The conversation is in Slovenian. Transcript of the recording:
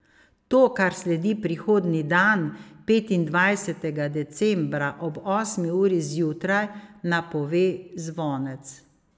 To, kar sledi prihodnji dan, petindvajsetega decembra ob osmi uri zjutraj, napove zvonec.